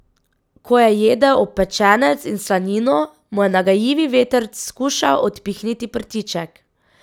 Ko je jedel opečenec in slanino, mu je nagajivi vetrc skušal odpihniti prtiček.